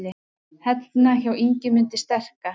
Hellna hjá Ingimundi sterka.